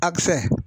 A bɛ fɛn